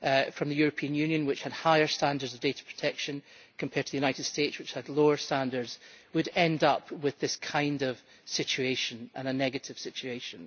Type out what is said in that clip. from the European Union which had higher standards of data protection compared to the United States, which had lower standards, would end up with this kind of situation and a negative situation.